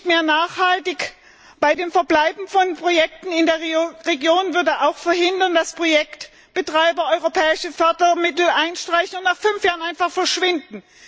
Mehr Nachhaltigkeit beim Verbleib von Projekten in der Region würde auch verhindern, dass Projektbetreiber europäische Fördermittel einstreichen und nach fünf Jahren einfach verschwinden.